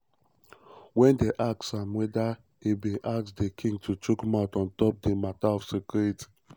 wen dem ask am weda e bin ask di king to chook mouth on top di mata of security.